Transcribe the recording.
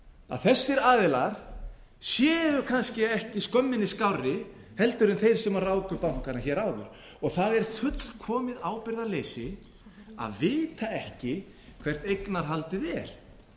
að þessir aðilar séu kannski ekki skömminni skárri en þeir sem ráku bankana hér áður og það er fullkomið ábyrgðarleysi að vita ekki hvert eignarhaldið er